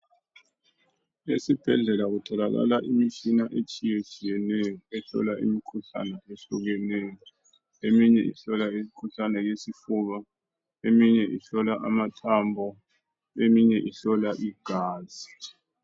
Esibhedlela kutholakala imitshina etshiye tshiyeneyo ehlola imikhuhlane ehlukeneyo eminye ihlola imikhuhlane yesifuba, eminye ihlola amathambo, eminye ihlola igazi.